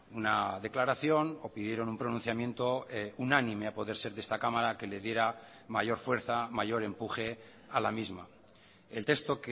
una declaración o pidieron un pronunciamiento unánime a poder ser de esta cámara que le diera mayor fuerza mayor empuje a la misma el texto